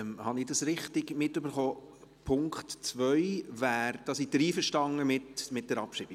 Habe ich das richtig mitbekommen, beim Punkt 2 sind Sie einverstanden mit der Abschreibung?